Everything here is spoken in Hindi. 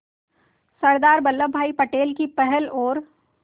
सरदार वल्लभ भाई पटेल की पहल और